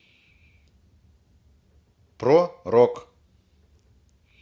про рок